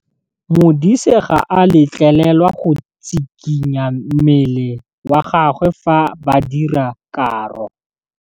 Modise ga a letlelelwa go tshikinya mmele wa gagwe fa ba dira karô.